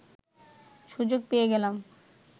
সুযোগ পেয়ে গেলাম